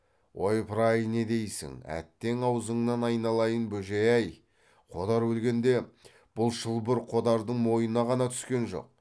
ойпыр ай не дейсің әттең аузыңнан айналайын бөжей ай қодар өлгенде бұл шылбыр қодардың мойнына ғана түскен жоқ